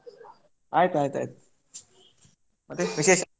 ಆಯ್ತ್ ಆಯ್ತ್ ಆಯ್ತ್ ಮತ್ತೆ ವಿಶೇಷ?